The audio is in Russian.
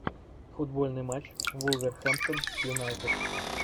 футбольный матч вулверхэмптон с юнайтед